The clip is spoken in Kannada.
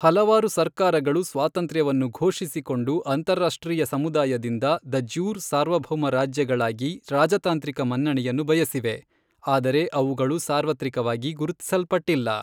ಹಲವಾರು ಸರ್ಕಾರಗಳು ಸ್ವಾತಂತ್ರ್ಯವನ್ನು ಘೋಷಿಸಿಕೊಂಡು ಅಂತಾರಾಷ್ಟ್ರೀಯ ಸಮುದಾಯದಿಂದ ದ ಜ್ಯೂರ್ ಸಾರ್ವಭೌಮ ರಾಜ್ಯಗಳಾಗಿ ರಾಜತಾಂತ್ರಿಕ ಮನ್ನಣೆಯನ್ನು ಬಯಸಿವೆ, ಆದರೆ ಅವುಗಳು ಸಾರ್ವತ್ರಿಕವಾಗಿ ಗುರುತಿಸಲ್ಪಟ್ಟಿಲ್ಲ.